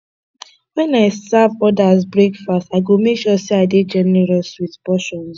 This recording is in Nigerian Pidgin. when i serve others breakfast i go make sure say i dey generous with portions